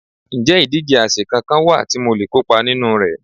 Ǹjẹ́ ìdíje àsè kankan wà tí mo le kópa nínú rẹ̀?